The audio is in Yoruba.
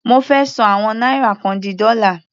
Mo fẹ́ ṣọ àwọn náírà kan di dọ́là.